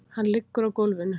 Hann liggur á gólfinu.